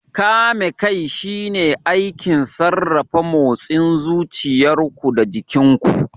Kame kai shine aikin sarrafa motsin zuciyar ku da jikin ku.